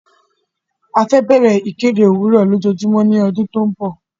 A fẹ́ bẹ̀rẹ̀ ìkéde òwúrò ojoojúmọ́ ní ọdún tí ó ń bọ̀.